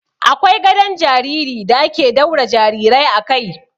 Akwai gadon jariri da ake daura jarirai a kai.